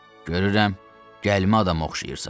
Görürəm, gəlimə adama oxşayırsan.